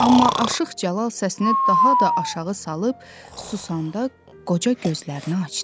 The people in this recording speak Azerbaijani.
Amma Aşıq Cəlal səsini daha da aşağı salıb susanda, qoca gözlərini açdı.